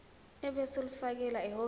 ebese ulifakela ehhovisi